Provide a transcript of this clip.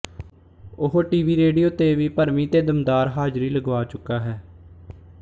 ਉਹ TV radio ਤੇ ਵੀ ਭਰਵੀਂ ਤੇ ਦਮਦਾਰ ਹਾਜ਼ਰੀ ਲਗਵਾ ਚੁੱਕਾ ਹੈ